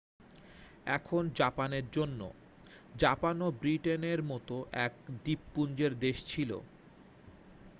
এখন জাপানের জন্য জাপানও ব্রিটেনের মতো এক দ্বীপপুঞ্জের দেশ ছিল